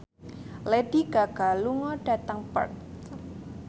Lady Gaga lunga dhateng Perth